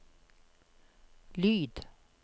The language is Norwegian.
lyd